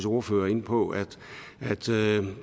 ordfører inde på at